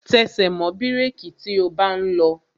Tẹsẹ̀ mọ́ bírèki tí o bá ń lọ!